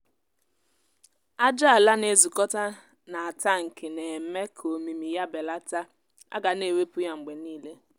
ájá ala na-ezukọta n’atankị na-eme ka omimi ya belata a ga na-ewepụ ya mgbe niile